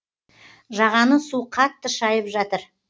жағаны су қатты шайып жатыр